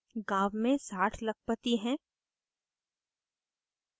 गांव में 60 लखपति हैं